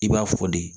I b'a fɔ de